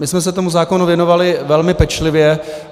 My jsme se tomu zákonu věnovali velmi pečlivě.